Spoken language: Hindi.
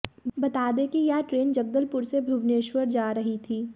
बता दें कि यह ट्रेन जगदलपुर से भुवनेश्वर जा रही थी